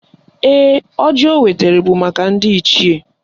Ee, ọjị o wetara bụ maka ndị Ichie